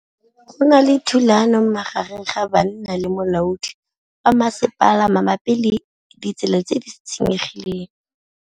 Go na le thulanô magareng ga banna le molaodi wa masepala mabapi le ditsela tse di senyegileng.